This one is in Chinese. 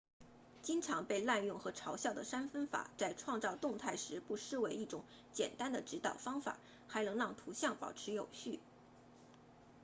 经常被滥用和嘲笑的三分法在创造动态时不失为一种简单的指导方法还能让图像保持有序